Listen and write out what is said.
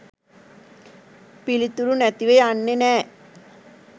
පිළිතුරු නැතිව යන්නේ නෑ